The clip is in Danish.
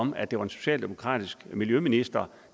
om at det var en socialdemokratisk miljøminister